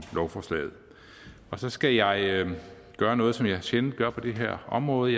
lovforslaget og så skal jeg gøre noget som jeg sjældent gør på det her område